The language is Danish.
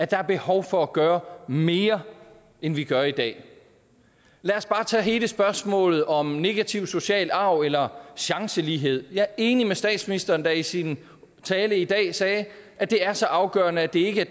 der er behov for at gøre mere end vi gør i dag lad os bare tage hele spørgsmålet om negativ social arv eller chancelighed jeg er enig med statsministeren der i sin tale i dag sagde at det er så afgørende at det ikke er